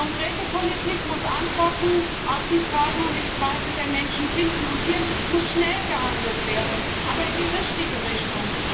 Konkrete Politik muss Antworten auf die Fragen und die Zweifel der Menschen finden, und hier muss schnell gehandelt werden, aber in die richtige Richtung.